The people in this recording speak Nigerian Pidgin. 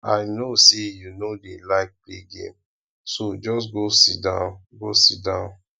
i no say you no dey like play game so just go sit down go sit down